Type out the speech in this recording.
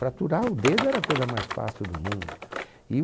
Fraturar o dedo era a coisa mais fácil do mundo. E